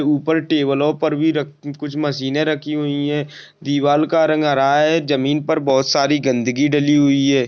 ऊपर टेबल लो पर भी कुछ मशीने रखी हुई है दीवार का रंग राहा है जमीन पर बहुत सारा गंदगी डली हुई है।